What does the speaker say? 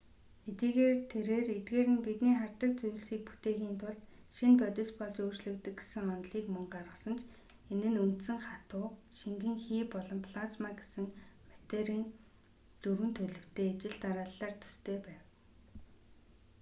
хэдийгээр тэрээр эдгээр нь бидний хардаг зүйлсийг бүтээхийн тулд шинэ бодис болж өөрчлөгддөг гэсэн онолыг мөн гаргасан ч энэ нь үндсэн хатуу шингэн хий болон плазма гэсэн материйн дөрвөн төлөвтэй ижил дарааллаар төстэй байв